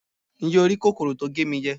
njé o ri kòkòrò tí o ge mi jẹ